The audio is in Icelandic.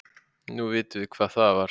Nú vitum við hvað það var.